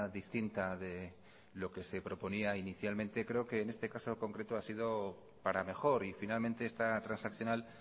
distinta de lo que se proponía inicialmente creo que en este caso concreto ha sido para mejor y finalmente esta transaccional